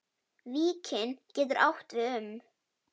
Víkin getur átt við um